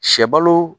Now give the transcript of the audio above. Sɛ balo